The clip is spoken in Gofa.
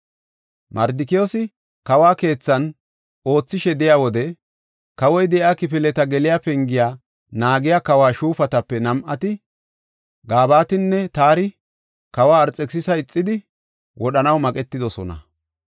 Mardikiyoosi kawo keethan oothishe de7iya wode, kawoy de7iya kifileta geliya pengiya naagiya kawo shuufatape nam7ati, Gabatinne Taari kawa Arxekisisa ixidi, wodhanaw maqetidosona.